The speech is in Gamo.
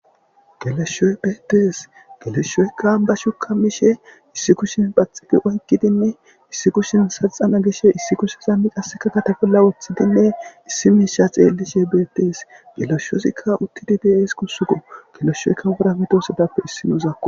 Geleshoyi betees geleshoyika ambashuka mishe issi kushen oyiqidinne issi kushen qasika saxana gishe issi kushe qasika gulbate bolla wotidi issi misha xelishe betees geleshozika utidi de,ees gusiko geleshoyika wora medosatupe isinozi gusako